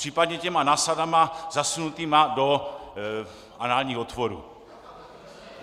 Případně těma násadama zasunutýma do análních otvorů.